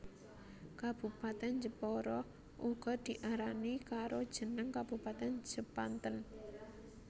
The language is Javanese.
Kabupatèn Jepara uga diarani karo jeneng Kabupatèn Jepanten